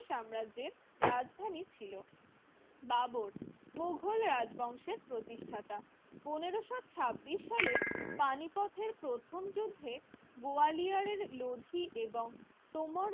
সাম্রাজ্যের রাজধানী ছিল বাবর মুঘল রাজবংশের প্রতিষ্ঠাতা পনেরোশো ছাব্বিশ সালের পানিপথের প্রথম যুদ্ধে গোয়ালিয়ারের লোধি এবং তোমর